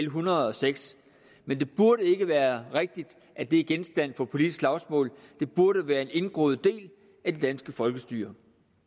hundrede og seks men det burde ikke være rigtigt at det er genstand for politisk slagsmål det burde være en indgroet del af det danske folkestyre